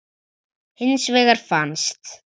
Hins vegar fannst